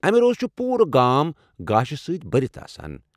امہِ رۄس چُھ پوٗرٕ گام گاشہِ سۭتۍ بٔرِتھ آسان۔